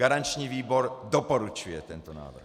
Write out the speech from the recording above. Garanční výbor doporučuje tento návrh.